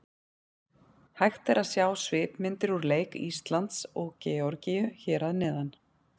Hægt er að sjá svipmyndir úr leik Íslands og Georgíu hér að neðan.